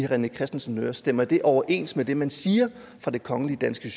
rené christensens ører stemmer det overens med det man siger fra det kongelige danske